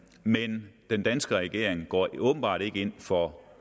men den danske regering går åbenbart ikke ind for